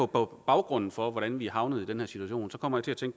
på baggrunden for hvordan vi er havnet i den her situation så kommer jeg til